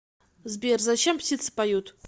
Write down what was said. сбер зачем птицы поют